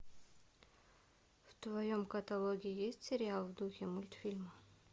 в твоем каталоге есть сериал в духе мультфильма